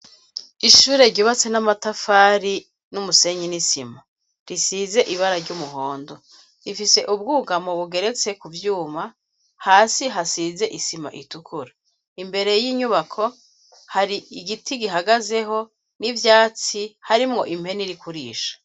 Ishure ryubatse n'amatafari n'umusenyi nisima risize ibara ry'umuhondo ifise ubwugamo bugeretse ku vyuma hasi hasize isima itukura imbere y'inyubako hari igiti gihagazeho n'ivyatsi hari mwo impeni rikurisha.